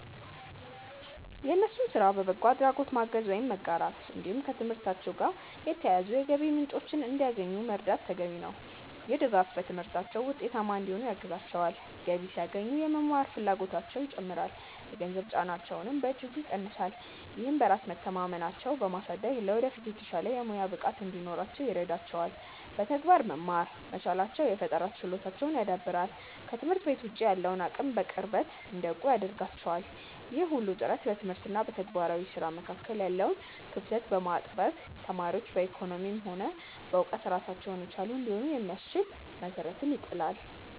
የእነሱን ስራ በበጎ አድራጎት ማገዝ ወይም መጋራት፣ እንዲሁም ከትምህርታቸው ጋር የተያያዙ የገቢ ምንጮችን እንዲያገኙ መርዳት ተገቢ ነው። ይህ ድጋፍ በትምህርታቸው ውጤታማ እንዲሆኑ ያግዛቸዋል፤ ገቢ ሲያገኙ የመማር ፍላጎታቸውም ይጨምራል፣ የገንዘብ ጫናቸውንም በእጅጉ ይቀንሳል። ይህም በራስ መተማመናቸውን በማሳደግ ለወደፊት የተሻለ የሙያ ብቃት እንዲኖራቸው ይረዳቸዋል። በተግባር መማር መቻላቸው የፈጠራ ችሎታቸውን ያዳብራል፤ ከትምህርት ቤት ውጭ ያለውን አለም በቅርበት እንዲያውቁ ያደርጋቸዋል። ይህ ሁሉ ጥረት በትምህርት እና በተግባራዊ ስራ መካከል ያለውን ክፍተት በማጥበብ ተማሪዎች በኢኮኖሚም ሆነ በእውቀት ራሳቸውን የቻሉ እንዲሆኑ የሚያስችል መሰረት ይጥላል።